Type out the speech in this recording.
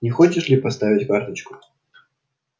не хочешь ли поставить карточку